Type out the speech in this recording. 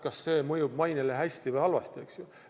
Kas see mõjub mainele hästi või halvasti?